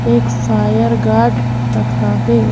एक fire guard रखा है ।